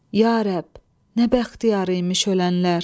Ya rəbb, nə bəxtiyarıymış ölənlər!